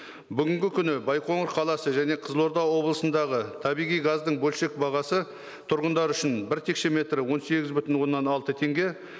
бүгінгі күні байқоңыр қаласы және қызылорда облысындағы табиғи газдың бөлшек бағасы тұрғындар үшін бір текшеметрі он сегіз бүтін оннан алты теңге